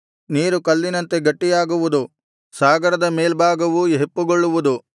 ನೀರು ಕಲ್ಲಿನಂತೆ ಗಟ್ಟಿಯಾಗುವುದು ಸಾಗರದ ಮೇಲ್ಭಾಗವೂ ಹೆಪ್ಪುಗೊಳ್ಳುವುದು